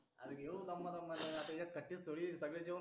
अर घेऊ दमा दमा आता एकखडेच थोडी सगडे जवण करून